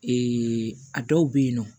a dɔw bɛ yen nɔ